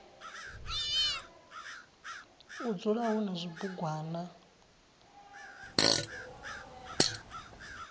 u dzula hu na zwibugwana